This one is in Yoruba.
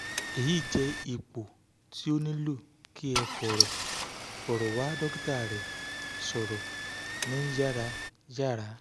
eyi jẹ ipo ti o nilo ki ẹ fọrọ fọrọ wa dokita rẹ sọrọ ni yarayara